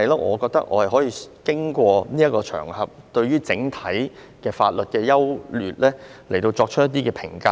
我覺得我可以透過這個場合，就整體法律的優劣作出評價。